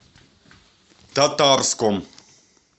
татарском